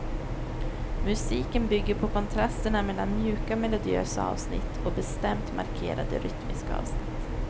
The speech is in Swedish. Musiken bygger på kontrasterna mellan mjuka melodiösa avsnitt och bestämt markerade rytmiska avsnitt.